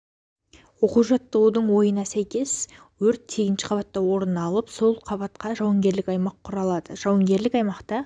оқу жаттығудың ойына сәйкес өрт сегізінші қабатта орын алып сол қабата жауынгерлік аймақ құрылады жауынгерлік аймақта